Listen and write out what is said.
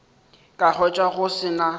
ka hwetša go se na